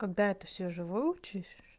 когда это всё уже выучишь